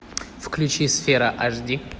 включи сфера аш ди